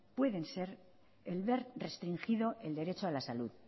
pueden ser el ver restringido el derecho a la salud